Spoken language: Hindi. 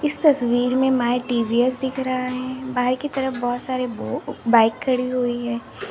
इस तस्वीर में माई टी_वी_एस दिख रहा है बाएं के तरफ बहोत सारे बाइक खड़ी हुई है।